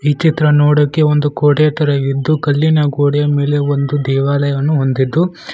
ಚಿತ್ರ ನೋಡೋಕೆ ಒಂದು ಕೋಟೆ ತರ ಇದ್ದು ಕಲ್ಲಿನ ಗೋಡೆಯ ಮೇಲೆ ಒಂದು ದೇವಾಲಯವನ್ನು ಹೊಂದಿದ್ದು--